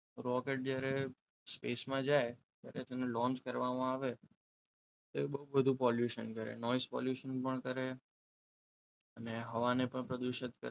Rocket જ્યારે સ્પેસમાં જાય ત્યારે તેને લોન્ચ કરવામાં આવે તે બહુ બધું પોલ્યુશન કરે નોઈસ પોલ્યુશન પણ કરે અને હવા ને પણ પ્રદૂષિત કરે.